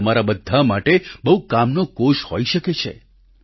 તે તમારા બધા માટે બહુ કામનો કોષ હોઈ શકે છે